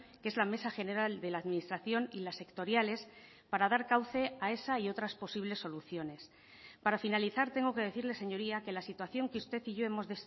que es la mesa general de la administración y las sectoriales para dar cauce a esa y otras posibles soluciones para finalizar tengo que decirle señoría que la situación que usted y yo hemos